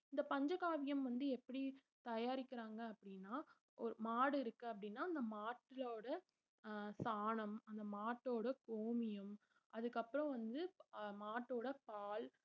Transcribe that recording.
இந்த பஞ்சகாவியம் வந்து எப்படி தயாரிக்கிறாங்க அப்படின்னா ஒரு மாடு இருக்கு அப்படின்னா அந்த மாட்டுலோட அஹ் சாணம் அந்த மாட்டோட கோமியம் அதுக்கப்புறம் வந்து மாட்டோட பால்